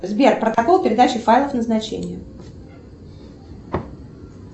сбер протокол передачи файлов назначение